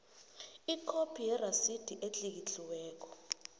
ikhophi yerasidi etlikitliweko